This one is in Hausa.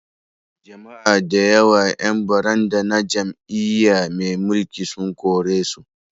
Jama'a da yawa 'yan baranda na jam'iyya mai mulki sun korisu